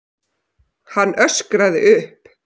Hann öskraði upp.